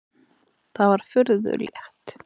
Það var furðu létt.